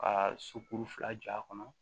Ka sokuru fila jɔ a kɔnɔ